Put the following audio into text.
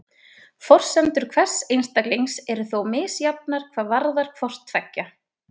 forsendur hvers einstaklings eru þó misjafnar hvað varðar hvort tveggja